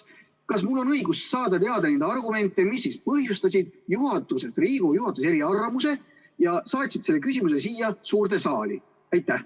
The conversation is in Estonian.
Kas mul on õigus saada teada neid argumente, mis põhjustasid Riigikogu juhatuse eriarvamused ja saatsid selle küsimuse siia suurde saali?